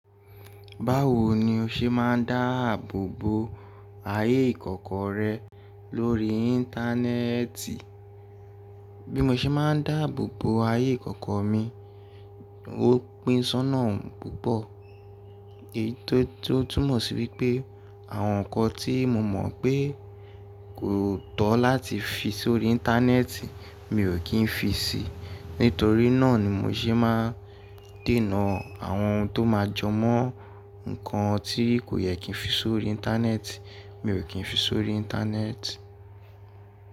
Báwo ni o ṣe máa ń dáàbò bo ayé ìkọ̀kọ̀ rẹ lórí Íńtánẹ́ẹ̀tì? Bí mo ṣe máa ń dáàbò bo ayé ìkọ̀kọ̀ mi, ó pín sọ́nà púpọ̀, èyí tó túmọ̀ sí wípé àwọn ǹkan tí mo mọ̀ pé kò tọ́ láti fi sórí Íńtánẹ́ẹ̀tì mi ò kí ń fi síi. Nítorí náà ni mo ṣe máa ń dènà àwọn ohun tó máa jọ mọ́ ǹkan tí kò yẹ kí ń fi sórí Íńtánẹ́ẹ̀tì, mi ò kí ń fi sórí Íńtánẹ́ẹ̀tì.